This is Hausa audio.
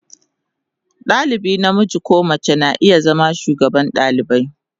Dalibi namiji ko mace na iya zama shugaban dalibai.